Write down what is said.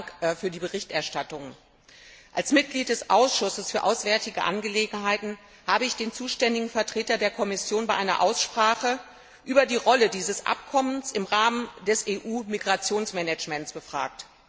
Vielen Dank für die Berichterstattung. Als Mitglied des Ausschusses für auswärtige Angelegenheiten habe ich den zuständigen Vertreter der Kommission in einer Aussprache zur Rolle dieses Abkommens im Rahmen des EU Migrationsmanagements befragt.